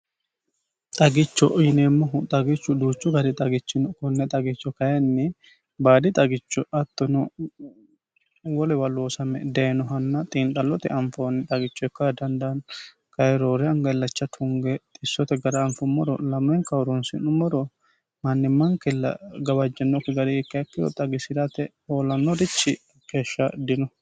xagicho yineemmohu xagichu duuchu gari xagichino kunne xagicho kayinni baadi xagicho hattono wolew loosame dayinohanna xiinxhallote anfoonni xagicho ikkah dandaani kayiroore angallacha tunge xissote gara anfummoro lamenka horonsi'nummoro mannimmaankilla gawajjinokki gari ikke ikkiro xagisi'rate hoolannorichi keeshsha dino